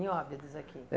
Em Óbidos aqui?